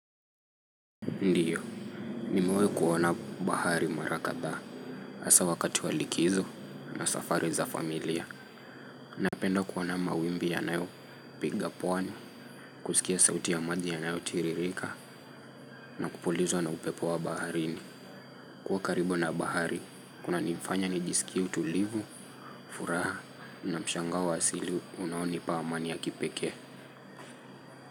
Ndio. Nimewahi kuona bahari mara kadha. Hasa wakati wa likizo na safari za familia. Napenda kuona mawimbi ya nayo piga pwani. Kuskia sauti ya maji yanayo tiririka. Na kupulizwa na upepo wa baharini. Kuwa karibu na bahari, kuna nifanya nijisikie utulivu, furaha, na mshangao wa asili unaonipa amani ya kipekee.